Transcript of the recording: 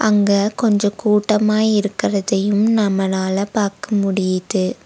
அங்க கொஞ்சம் கூட்டமா இருக்கரதயும் நம்மளால பாக்க முடிது.